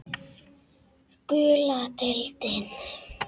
Gula deildin